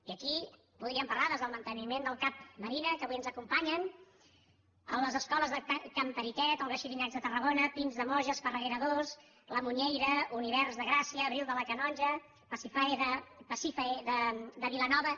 i aquí podríem parlar des del manteniment del cap marina que avui ens acompanyen de les escoles de can periquet olga xirinacs de tarragona pins de moja esparreguera ii la muñeira univers de gràcia abril de la canonja pasífae de vilanova